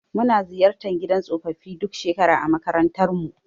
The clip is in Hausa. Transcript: Muna ziyartar gidan tsofaffi duk shekara a makarantarmu.